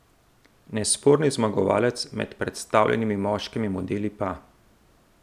Nesporni zmagovalec med predstavljenimi moškimi modeli pa ...